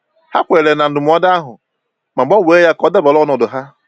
Ha kweere na ndụmọdụ ahụ, ma gbanwee ya ka ọ dabara ọnọdụ ha.